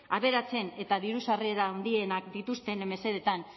aberatsen eta diru sarrera handienak dituzten mesedeetan